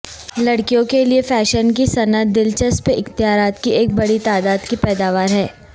لڑکیوں کے لئے فیشن کی صنعت دلچسپ اختیارات کی ایک بڑی تعداد کی پیداوار ہے